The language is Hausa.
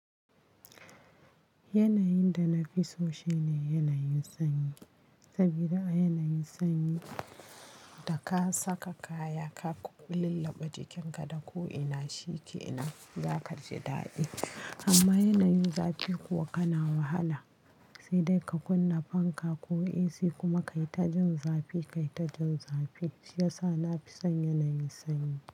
Yanayin da na fi so shine yanayin sanyi, saboda a yanayin sanyi da ka saka kaya, ka lullubɓe jikinka da ko ina shikenan za ka ji daɗi. Amma yanayin zafi kuwa kana wahala, sai dai ka kunna fanka ko AC kuma kayi ta jin zafi, kai ta jin zafi. Shi yasa na fi son yanayin sanyi.